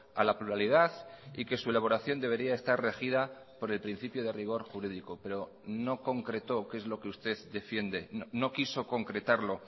a la pluralidad y que su elaboración debería estar regida por el principio de rigor jurídico pero no concretó qué es lo que usted defiende no quiso concretarlo